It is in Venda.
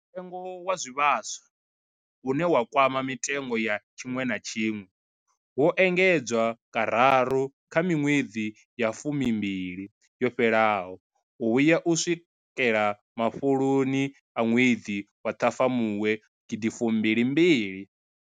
Mutengo wa zwivhaswa, une wa kwama mitengo ya tshiṅwe na tshiṅwe, wo engedzwa kararu kha miṅwedzi ya fumimbili yo fhelaho u vhuya u swikela mafhuloni a ṅwedzi wa Ṱhafamuhwe gidi fumbili mbili.